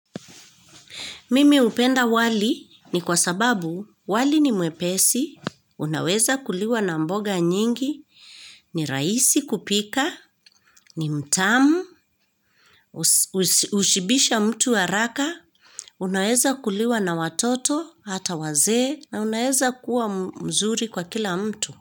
Mimi hupenda wali ni kwa sababu wali ni mwepesi, unaweza kuliwa na mboga nyingi, ni rahisi kupika, ni mtamu, hushibisha mtu wa haraka, unaweza kuliwa na watoto, hata wazee, na unaweza kuwa mzuri kwa kila mtu.